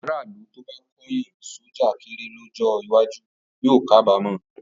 Aráàlú tó bá kóyán sọ́jà kéré lọ́jọ́ iwájú yóò kábàámọ̀.